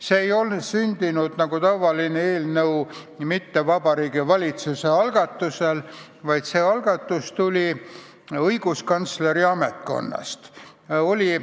See ei ole sündinud nagu tavaline eelnõu Vabariigi Valitsuse algatusel, vaid see algatus tuli õiguskantsleri ametkonnast.